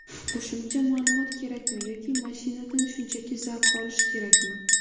Qo‘shimcha ma’lumot kerakmi yoki mashinadan shunchaki zavq olish kerakmi?